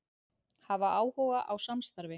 Hafa áhuga á samstarfi